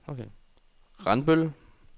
Randbøl